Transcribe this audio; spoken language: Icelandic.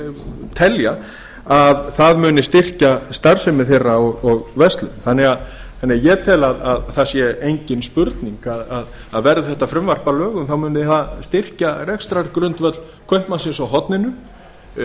þeir telja að það muni styrkja starfsemi þeirra og verslun þannig að ég tel að það sé engin spurning að verði þetta frumvarp að lögum muni það styrkja rekstrargrundvöll kaupmannsins á horninu